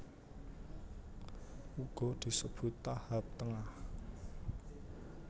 Uga disebut tahap tengah